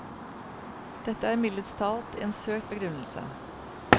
Dette er mildest talt en søkt begrunnelse.